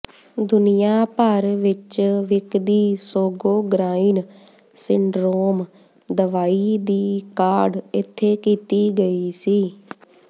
ਦੁਨੀਆ ਭਰ ਵਿੱਚ ਵਿਕਦੀ ਸੋਗੋਗ੍ਰਾਇਨ ਸਿੰਡਰੋਮ ਦਵਾਈ ਦੀ ਕਾਢ ਇੱਥੇ ਕੀਤੀ ਗਈ ਸੀ